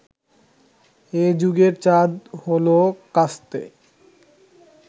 এ যুগের চাঁদ হলো কাস্তে